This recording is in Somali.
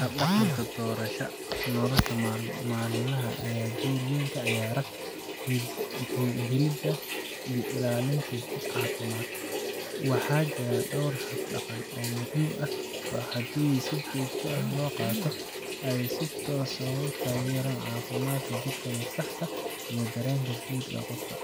Hab dhaqanka doorashada nolosha maalinlaha ah ayaa door aad u weyn ka ciyaara helidda iyo ilaalinta jidh caafimaad leh. Waxaa jira dhowr hab dhaqan oo muhiim ah oo haddii si joogto ah loo qaato, ay si toos ah u taageeraan caafimaadka jirka, maskaxda, iyo dareenka guud ee qofka.